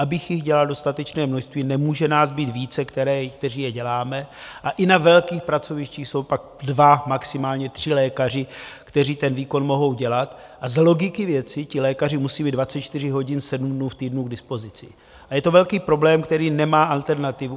Abych jich dělal dostatečné množství, nemůže nás být více, kteří je děláme, a i na velkých pracovištích jsou pak dva, maximálně tři lékaři, kteří ten výkon mohou dělat, a z logiky věci ti lékaři musí být 24 hodin, 7 dnů v týdnu k dispozici a je to velký problém, který nemá alternativu.